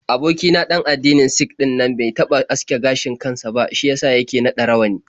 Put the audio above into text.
Aboki na ɗan addinin Sik ɗinnan bai taɓa aske gashin kan sa ba, shi ya sa yake naɗa rawani.